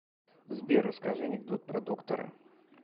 сбер расскажи анекдот про доктора